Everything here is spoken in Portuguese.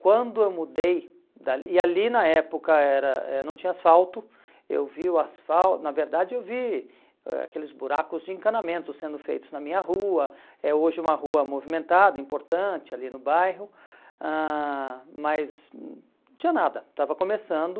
Quando eu mudei, da e ali na época era eh não tinha asfalto, eu vi o asfal, na verdade eu vi aqueles buracos de encanamento sendo feitos na minha rua, é hoje uma rua movimentada, importante ali no bairro, ãh mas hum não tinha nada, estava começando.